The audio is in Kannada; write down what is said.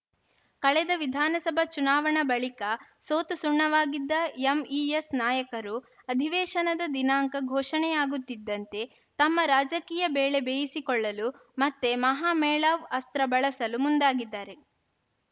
ಕಳೆದ ವಿಧಾನಸಭಾ ಚುನಾವಣಾ ಬಳಿಕ ಸೋತು ಸುಣ್ಣವಾಗಿದ್ದ ಎಂಇಎಸ್‌ ನಾಯಕರು ಅಧಿವೇಶನದ ದಿನಾಂಕ ಘೋಷಣೆಯಾಗುತ್ತಿದಂತೆ ತಮ್ಮ ರಾಜಕೀಯ ಬೇಳೆ ಬೇಯಿಸಿಕೊಳ್ಳಲು ಮತ್ತೆ ಮಹಾಮೇಳಾವ್‌ ಅಸ್ತ್ರ ಬಳಸಲು ಮುಂದಾಗಿದ್ದಾರೆ